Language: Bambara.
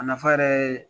A nafa yɛrɛ ye